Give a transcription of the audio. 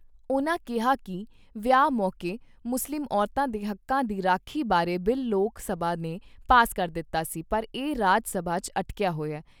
ਉਨ੍ਹਾਂ ਕਿਹਾ ਕਿ ਵਿਆਹ ਮੌਕੇ ਮੁਸਲਿਮ ਔਰਤਾਂ ਦੇ ਹੱਕਾਂ ਦੀ ਰਾਖੀ ਬਾਰੇ ਬਿੱਲ ਲੋਕ ਸਭਾ ਨੇ ਪਾਸ ਕਰ ਦਿੱਤਾ ਸੀ ਪਰ ਇਹ ਰਾਜ ਸਭਾ 'ਚ ਅਟਕਿਆ ਹੋਇਆ।